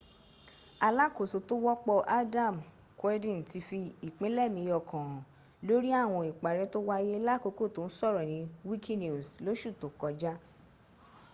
alákòóso tó wọ́pọ̀ adam cuerden ti fi ìpinlẹẹ̀mí ọkàn hàn lórí àwọn ìparẹ́ tó wáyé lákòókò tó ń sọ̀rọ̀ ní wikinews lóṣù tó kọjá